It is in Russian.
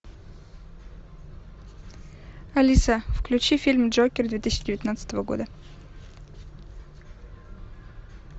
алиса включи фильм джокер две тысячи девятнадцатого года